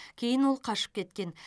кейін ол қашып кеткен